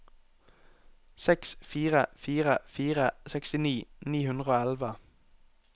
seks fire fire fire sekstini ni hundre og elleve